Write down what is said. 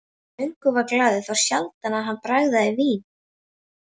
Hann söng og var glaður, þá sjaldan hann bragðaði vín.